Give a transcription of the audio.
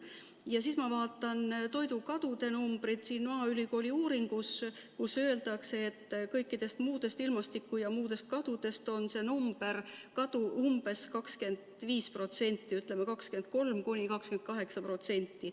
Ja siis ma vaatan toidukadude numbreid maaülikooli uuringus, kus öeldakse, et kõikidest ilmastiku- ja muudest kadudest on see kadu umbes 25%, ütleme, 23–28%.